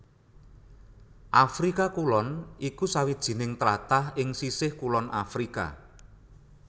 Afrika Kulon iku sawijining tlatah ing sisih kulon Afrika